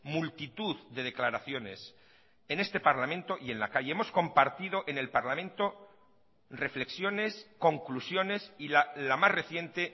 multitud de declaraciones en este parlamento y en la calle hemos compartido en el parlamento reflexiones conclusiones y la más reciente